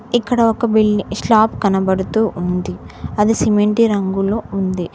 ఇక్కడ ఒక build slab కనబడుతూ ఉంది అది సిమెంటి రంగులో ఉంది.